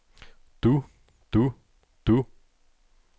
du du du